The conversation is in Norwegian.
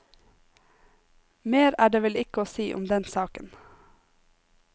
Mer er det vel ikke å si om den saken.